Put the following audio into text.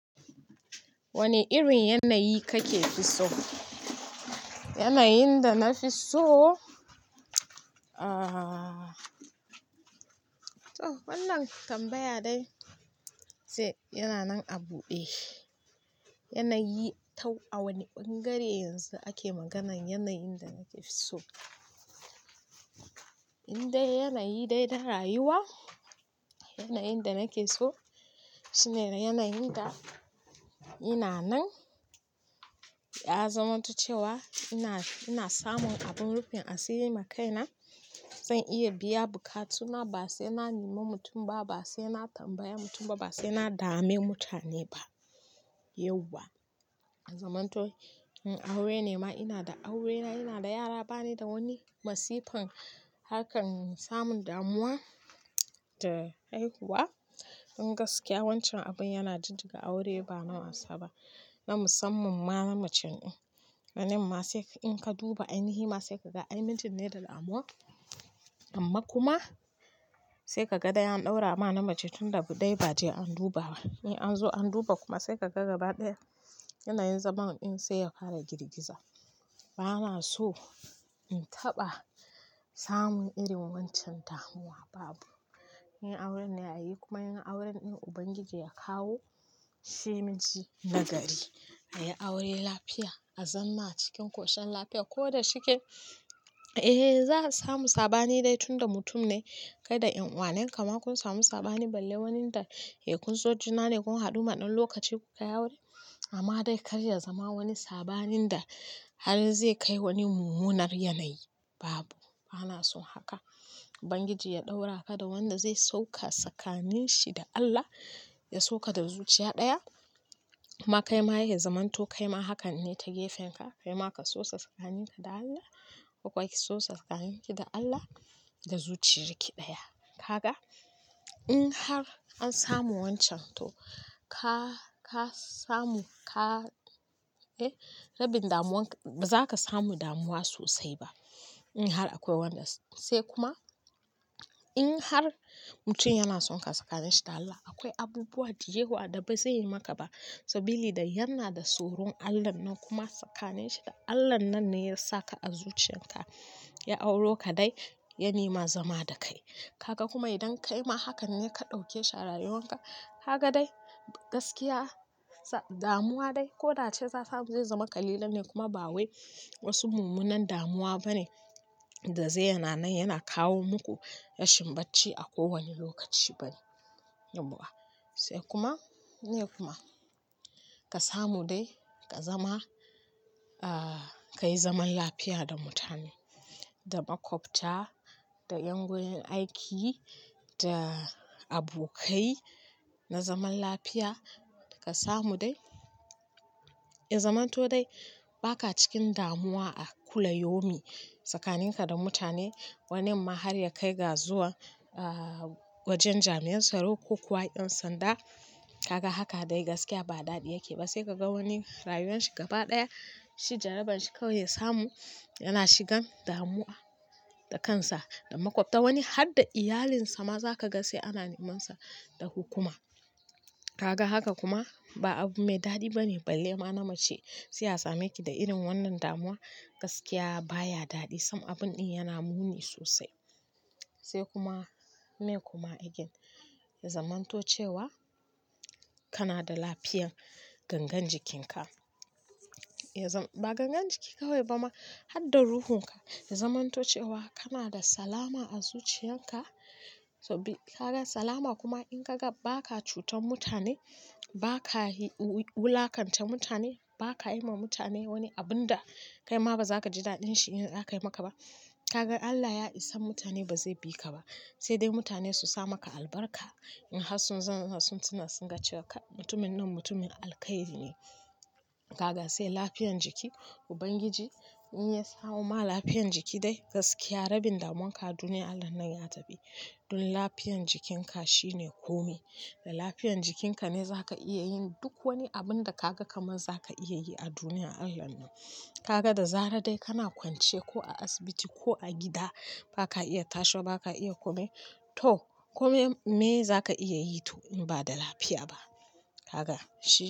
Wane irin yanayi kake so? Yanayin da nafiso, aah, to wannan tambaya dai sai yana nan a buɗe. A wanne bangare yanzu ake maganar yanayin da nake so? Indai yanayi dai na rayuwa, yanayin da nake so shine yanayin da ina nan ya zamanto cewa ina samu wa kaina abin rufin asiri ma kaina zan iya biya bukatuna ba saina nemi mutum ba saina tambayana saina dame mutane ba yauwa. Ya zamanto in aure ne ma ina da aurena, ina da yara bana da wani masifan harkan samun damuwa da haihuwa. Gaskiya wancan abin yana jijjiga aure ba na wasa ba, na musamman ma namacen in. Wannin ma sai in ka duba ainihi ma sai ka ga ai mijin ne da damuwa amma kuma sai ka ga dai an ɗaura ma namacen tun da dai ba'a je an duba ba. An zo an duba kuma sai ka ga gaba ɗaya yanayin zaman in sai ya fara girgiza. Bana so in taɓa samun irin wancan damuwa babu. In auren aya yi kuma in auren in Ubangiji ya kawo shi mijina gari. A yi aure lafiya a zama a cikin ƙoshin lafiya ko da shike, za a samu sabani dai tunda mutum ne kai da yan uwa ne. Kamakun samu sabani balle wanda kun so juna ne kun haɗu ma ɗan lokaci kuka yi aure amma dai kar ya zama wani sabanin da har zai kai wani mummunar yanayi babu. Bana son haka Ubangiji ya ɗaura ka da wanda zai so ka tsakanin shi da Allah, ya so ka da zuciya ɗaya amma kai ma ya yi zamanto kaima hakan ne ta gefen ka. Kaima ka sosaa tsakani da Allah ko kuma ki sosa tsakani da Allah da zuciya daya. Ka ga in har an samu wancan to ka samu, rabin damuwanka ba za ka samu damuwa sosai ba in har akwai wanda. Sai kuma in har mutum yan sonka tsakanin shi da Allah akwai abubuwa da yawa da zaiyi maka ba sabila da ya na da tsoron Allah nan. Kuma tsakaninshi da Allah nan ne yasaka a zuciyarka yau auro da dai ya nema zama da kai. Kaga kuma idan kaima hakan ne ka ɗauke shi a rayuwanka kaga dai gaskiya damuwa dai ko da ace za a samu zai zama kalilan ne kuma ba wai wasu mummunan damuwa bane da zai yana nan yana kawo muku rashin bacci a kowanne lokaci bane sai kuma, meye kuma, ka samu dai ka zama, ka yi zaman lafiya da mutane, da makwabta, da ƴan gurin aiki, da abokai na zaman lafiya ka samu dai. Ya zamanto dai ba ka cikin damuwa a kulla yaumin tsakanin ka da mutane. Wanin ma har ya kai ga zuwa wajen jami'an tsaro ko kuwa ƴan sanda. Kaga haka dai gaskiya ba daɗi yake ba sai ka ga wani rayuwar shi gaba ɗaya shi jarabar shi kawai ya samu yana shigan damuwa da kansa da makwabta wani har da iyalinsa ma za ka ga sai ana neman sa da hukuma. Kaga haka kuma ba abu mai daɗi bane balle ma namiji. Sai a sameki ki da irin wannan damuwa gaskiya baya daɗi sam abun in yana muni sosai. Sai kuma me kuma again ya zamanto cewa kana da lafiyar gangan jikinka. Ba gangan jiki kawai ba ma har da ruhunka ya zamanto cewa kana da salama a zuciyan ka. Kaga salama kuma in ka ga ba ka cutar mutane, ba ka wulakanta mutane, ba ka yi ma mutane wani abun da kaima ba za ka ji daɗin shi in aka yi maka ba. Kaga Allah ya isan mutane bazai biki ba saidai mutane su sa maka albarka in har sun tuna sun ga cewa kai mutumin nan mutumin alkhairi ne. Kaga sai lafiyan jiki Ubangiji in ya sawo ma lafiyan jiki dai gaskiya rabin damuwanka duniya Allah nan ya tafi. Don lafiyan jikinka shine kome da lafiyan jikinka ne za ka iya yin duk wani abun da kaga kamar za ka iya yi a duniya Allah nan. Kaga da zarar dai kana kwance ko a asibiti ko a gida baka iya tashi wa baka iya komai to kodai meye zaka iya yi indai bada lfy ba kaga shine.